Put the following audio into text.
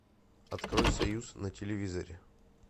открой союз на телевизоре